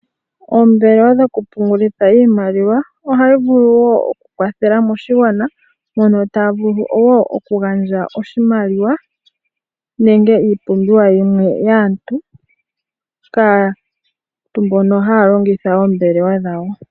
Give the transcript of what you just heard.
Oombelewa dhokupungulitha iimaliwa ohayi vulu wo oku kwathela moshigwana. Mono taya vulu oku gandja oshimaliwa nenge iipumbiwa yimwe yaantu kaantu mbono haya longitha oombwela dhawo.